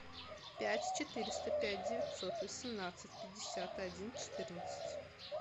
пять четыреста пять девятьсот восемнадцать пятьдесят один четырнадцать